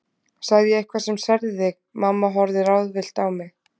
Sagði ég eitthvað sem særði þig? mamma horfði ráðvillt á mig.